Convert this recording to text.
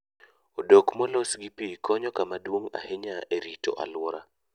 Odok molos gi pi konyo kama duong' ahinya e rito alwora.